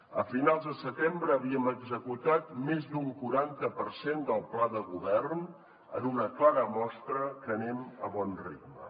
a finals de setembre havíem executat més d’un quaranta per cent del pla de govern en una clara mostra que anem a bon ritme